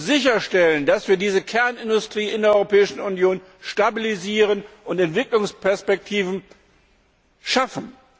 Wir müssen sicherstellen, dass wir diese Kernindustrie in der Europäischen Union stabilisieren und Entwicklungsperspektiven schaffen.